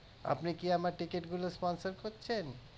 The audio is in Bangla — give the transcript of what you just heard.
আপনি কি আমার ticket গুলো sponsor করছেন